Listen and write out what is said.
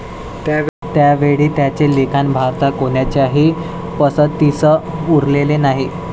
त्यावेळी त्यांचे लिखाण भारतात कोणाच्याही पसंतीस उतरले नाही.